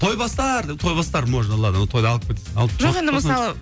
тойбастар деп тойбастар можно ладно оны тойда алып кетсін